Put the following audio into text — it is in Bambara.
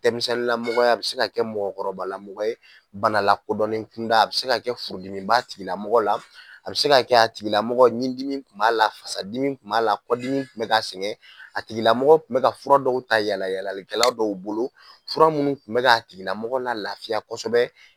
Denmisɛnninlamɔgɔ a bɛ se kɛ mɔgɔkɔrɔbalamɔgɔ ye bana lakodɔnnen kunda a bɛ se ka kɛ furudimi b'a tigi la a bɛ seka kɛ a tigilamɔgɔ ɲindimi tun b'a la fasadimi tun b'a la kɔdimi bɛ k'a sɛgɛn a tigilamɔgɔ tun bɛ fura dɔw ta yalayalalikɛlaw dɔw bolo fura minnu tun bɛ k'a tigilamɔgɔ la lafiya kosɛbɛ